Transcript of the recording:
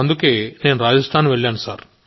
అందుకే రాజస్థాన్ వెళ్లాను